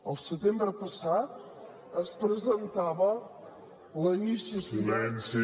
el setembre passat es presentava la iniciativa